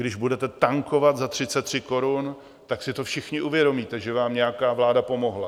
Když budete tankovat za 33 korun, tak si to všichni uvědomíte, že vám nějaká vláda pomohla.